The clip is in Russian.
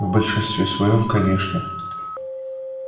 в большинстве своём конечно